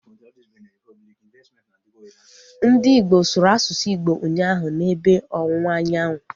Ndị Igbo sụrụ asụsụ Igbo ụnyaahụ, na ebe ọwụwa anyanwụ